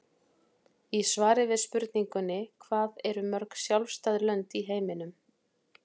Í svari við spurningunni Hvað eru mörg sjálfstæð lönd í heiminum?